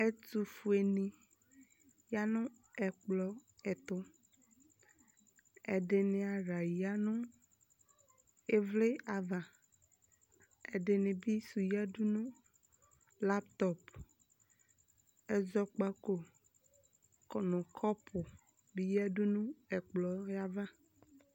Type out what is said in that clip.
Ɛtufueni ya nu ɛkplɔ ɛtu Ɛdini aɣla ya nu ivli ava ɛdinibi su yadu nu laptɔp ɛʒɔkpako kunu kɔɔpu di yadu nu ɛkplɔyɛ ava